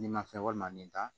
Nin ma fɛn walima nin ta